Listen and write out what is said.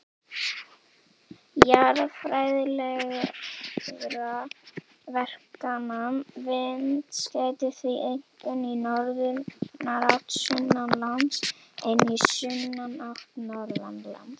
Jarðfræðilegra verkana vinds gætir því einkum í norðanátt sunnanlands en í sunnanátt norðanlands.